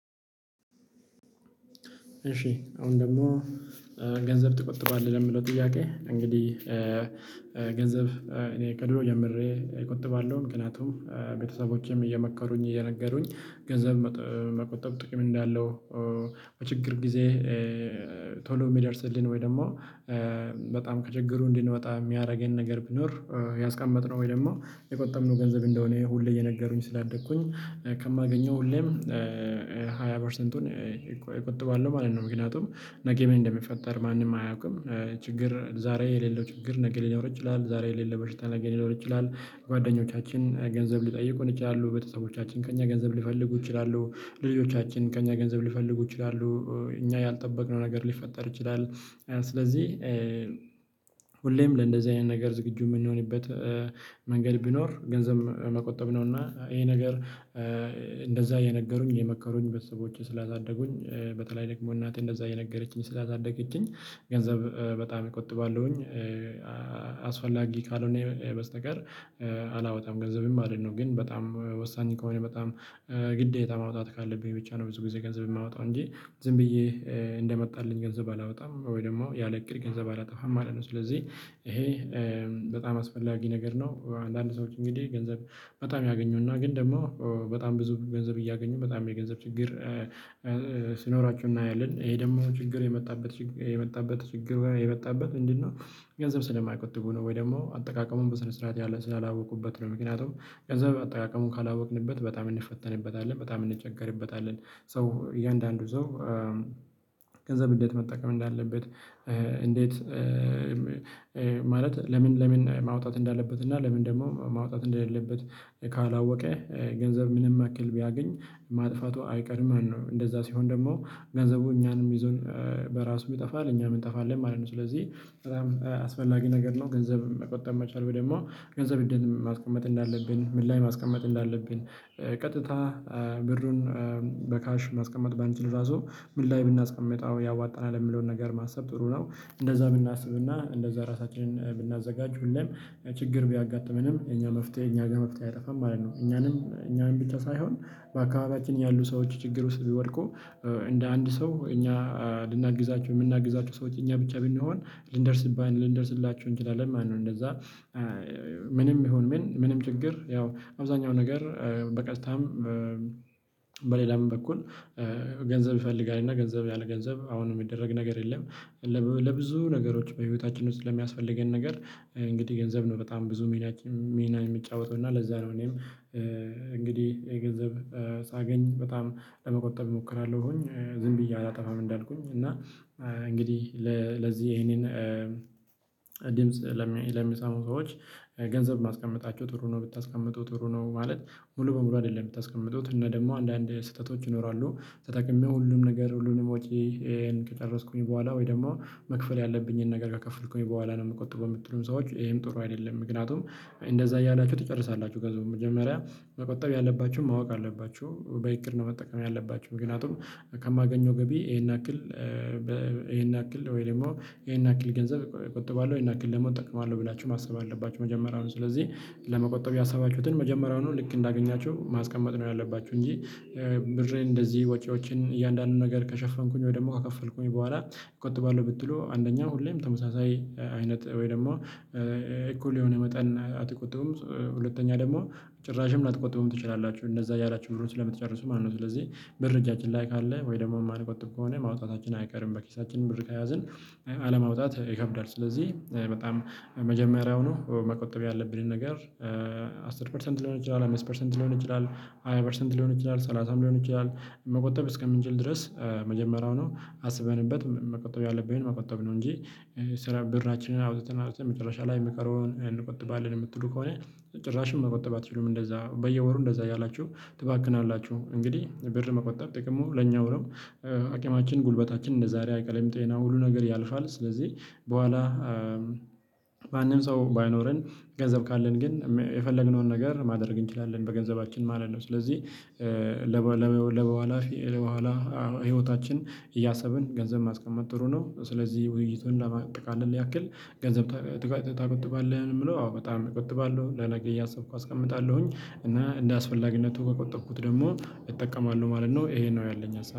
እሺ አሁን ደግሞ ገንዘብ ትቆጥባለህ ለሚለው ጥያቄ። እንግዲህ ገንዘብ እኔ ከድሮ ጀምሬ እቆጥባለሁ ምክንያቱም ቤተሰቦቼም እየመከሩኝ እየነገሩኝ ገንዘብ መቆጠብ ጥቂም እንዳለው። በችግር ጊዜ ቶሎ የሚደርስልን ወይ ደግሞ በጣም ከችግሩ እንድንወጣ የሚያደርገን ነገር ብኖር። ያስቀመጥነው ወይ ደግሞ የቆጠብነው ገንዘብ እንደሆነ ሁሌ እየነገሩኝ ስላደኩኝ ከማገኘው ሁሌም ሃያ ፐርሰንቱን እቆጥባለሁ ማለት ነው። ምክንያቱም ነገ ምን እንደሚፈጠር ማንም አያውቅም። ችግር ዛሬ የሌለው ችግር ነገ ሊኖር ይችላል። ዛሬ የሌለ በሽታ ነገ ሊኖር ይችላል። ጓደኞቻችን ገንዘብ ሊጠይቁን ይችላሉ በተሰቦቻችን ከእኛ ገንዘብ ሊፈልጉ ይችላሉ። ልጆቻችን ከእኛ ገንዘብ ሊፈልጉ ይችላሉ። እኛ ያልጠበቅነው ነገር ሊፈጠር ይችላል። ስለዚህ ሁሌም ለእንደዚህ አይነት ነገር ዝግጁ የምንሆንበት መንገድ ቢኖር ገንዘብ መቆጠብ ነው። እና ይሄ ነገር እንደዛ የነገሩኝ የመከሩኝ ቤተሰቦቼ ስላሳደጉኝ በተለይ ደግሞ እናቴ እንደዛ እየነገረችኝ ስላሳደገችኝ ገንዘብ በጣም እቆጥባለሁኝ። አስፈላጊ ካልሆነ በስተቀር አላወጣም ገንዘብን ማለት ነው። ግን በጣም ወሳኝ ከሆነ በጣም ግዴታ ማውጣት ካለብኝ ብቻ ነው። ብዙ ጊዜ ገንዘብ የማወጣው እንጂ ዝም ብዬ እንደመጣልኝ ገንዘብ አላወጣም ወይ ደግሞ ያለ እቅድ ገንዘብ አላጠፋም ማለት ነው። ስለዚህ ይሄ በጣም አስፈላጊ ነገር ነው። አንዳንድ ሰዎች እንግዲህ ገንዘብ በጣም ያገኙና ግን ደግሞ በጣም ብዙ ገንዘብ እያገኙ በጣም የገንዘብ ችግር ሲኖራችሁ እናያለን ይሄ ደግሞ ችግር የመጣበት የመጣበት ችግር የመጣበት ምንድነው? ገንዘብ ስለማይቆጥቡ ነው። ወይ ደግሞ አጠቃቀሙን በስነ ስርዓት ያለ ስላላወቁበት ነው። ምክንያቱም ገንዘብ አጠቃቀሙ ካላወቅንበት በጣም እንፈተንበታለን በጣም እንቸገርበታለን። ሶ እያንዳንዱ ሰው ገንዘብ እንዴት መጠቀም እንዳለበት። እንዴት ማለት ለምን ለምን ማውጣት እንዳለበት እና ለምን ደግሞ ማውጣት እንደሌለበት። ካላወቀ ገንዘብ ምንም ያክል ቢያገኝ ማጥፋቱ አይቀርም ማለት ነው። እንደዛ ሲሆን ደግሞ ገንዘቡ እኛንም ይዞን በራሱ ይጠፋል እኛም እንጠፋለን ማለት ነው። ስለዚህ በጣም አስፈላጊ ነገር ነው። ገንዘብ መቆጠብ መቻል ወይ ደግሞ ገንዘብ እንዴት ማስቀመጥ እንዳለብን ምን ላይ ማስቀመጥ እንዳለብን። ቀጥታ ብሩን በካሽ ማስቀመጥ ባንችል ራሱ ምን ላይ ብናስቀምጠው ያዋጣናል የሚለውን ነገር ማሰብ ጥሩ ነው። እንደዛ ብናስብና እንደዛ ራሳችንን ብናዘጋጅ ሁሌም ችግር ቢያጋጥመንም የኛ መፍትሄ እኛ ጋር መፍትሄ አይጠፋም ማለት ነው። እኛንም እኛንም ብቻ ሳይሆን በአካባቢያችን ያሉ ሰዎች ችግር ውስጥ ቢወድቁ እንደ አንድ ሰው እኛ ልናግዛችሁ የምናግዛቸው ሰዎች እኛ ብቻ ብንሆን ልንደርስባቸው ልንደርስላቸው እንችላለን። ነው። እንደዛ ምንም ይሁን ምን ምንም ችግር ያው አብዛኛው ነገር በቀጥታም በሌላም በኩል ገንዘብ ይፈልጋል እና ገንዘብ ያለ ገንዘብ አሁን የሚደረግ ነገር የለም። ለብዙ ነገሮች በህይወታችን ውስጥ ለሚያስፈልገን ነገር እንግዲህ ገንዘብ ነው። በጣም ብዙ ሚና ሚና የሚጫወተው እና ለዛ ነው። እኔም እንግዲህ የገንዘብ ሳገኝ በጣም ለመቆጠብ እሞክራለሁኝ። ዝም ብዬ አላጠፋም። እንዳልኩኝ እና እንግዲህ ለዚህ ይሄንን ድምጽ ለሚሰሙ ሰዎች ገንዘብ ማስቀመጣቸው ጥሩ ነው ብታስቀምጡ ጥሩ ነው። ማለት ሙሉ በሙሉ አይደለም የምታስቀምጡት እና ደግሞ አንዳንድ ስህተቶች ይኖራሉ። ተጠቅሜ ሁሉም ነገር ሁሉንም ወጪ ከጨረስኩኝ በኋላ ወይ ደግሞ መክፈል ያለብኝን ነገር ከከፈልኩኝ በኋላ ነው የምቆጥበው የምትሉም ሰዎች ይሄም ጥሩ አይደለም። ምክንያቱም እንደዛ እያላችሁ ትጨርሳላችሁ ገንዘቡን መጀመሪያ መቆጠብ ያለባችሁም ማወቅ አለባችሁ። በእቅድ ነው መጠቀም ያለባችሁ። ምግንያቱም ከማገኘው ገቢ ይሄን ያክል ይሄን ያክል ወይ ደግሞ ይሄን ያክል ገንዘብ እቆጥባለሁ ይሄን ያክል ደግሞ እጠቅማለሁ ብላችሁ ማሰብ አለባችሁ። መጀመሪያውኑ ስለዚህ ለመቆጠብ ያሰባችሁትን መጀመሪያውኑ ልክ እንዳገኛችሁ ማስቀመጥ ነው ያለባችሁ። እንጂ ብርን እንደዚህ ወጪዎችን እያንዳንዱን ነገር ከሸፈንኩኝ ወይ ደግሞ ከከፈልኩኝ በኋላ እቆጥባለሁ ብትሉ አንደኛው ሁሌም ተመሳሳይ አይነት ወይ ደግሞ እኩል የሆነ መጠን አትቆጥቡም። ሁለተኛ ደግሞ ጭራሽም ላትቆጥቡም ትችላላችሁ። እንደዛ እያላችሁ ብሩን ስለ ምትጨርሱ ማለት ነው። ስለዚህ ብር እጃችን ላይ ካለ ወይ ደግሞ የማንቆጥብ ከሆነ ማውጣታችን አይቀርም። በኪሳችን ብር ከያዝን አለማውጣት ይከብዳል። ስለዚህ በጣም መጀመሪያው ኑ መቆጠብ ያለብንን ነገር አስር ፐርሰንት ሊሆን ይችላል አምስት ፐርሰንት ሊሆን ይችላል። ሃያ ፐርሰንት ሊሆን ይችላል ሰላሳም ሊሆን ይችላል። መቆጠብ እስከምንችል ድረስ መጀመሪያው ነው። አስበንበት መቆጠብ ያለብኝን መቆጠብ ነው። እንጂ ስራ ብርናችንን አውጥተን አውጥተን መጨረሻ ላይ የሚቀረውን ያን እንቆጥባለን የምትሉ ከሆነ ጭራሽም መቆጠብ አትችሉም። እንደዛ በየወሩ እንደዛ እያላችሁ ትባክናላችሁ እንግዲህ ብር መቆጠብ ጥቅሙ ለኛው ነው። አቅማችን ጉልበታችን እንደዛሬ አይቀርም ጤና ሁሉ ነገር ያልፋል። ስለዚህ በኋላ ማንም ሰው ባይኖረን ገንዘብ ካለን ግን የፈለግነውን ነገር ማደርግ እንችላለን። በገንዘባችን ማለት ነው። ስለዚህ ለበኋላ ለበኋላ ህይወታችን እያሰብን ገንዘብ ማስቀመጥ ጥሩ ነው። ስለዚህ ውይይቱን ለማጠቃለል ያክል ገንዘብ ትቆጥባለህ ምንድነው? አዎ በጣም እቀጥባለሁ ለነገ እያሰብኩ አስቀምጣለሁኝ። እና እንደአስፈላጊነቱ ከቆጠብኩት ደግሞ እጠቀማለሁ ማለት ነው። ይሄን ነው ያለኝ